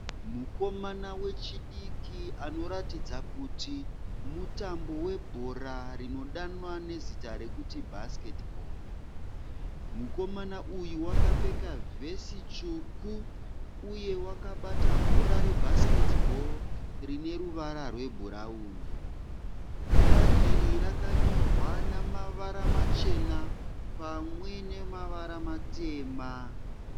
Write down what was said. Mukomana wechidiki anoratidza kuti mutambo webhora rinodanwa nezita rekuti bhasiketibho. Mukomana uyu wakapfeka vhesi tsvuku uye wakabata bhora rebhasiketibho rineruvara rwebhurauni. Bhora iri rakanyorwa namavara machena pamwe nemavara matema.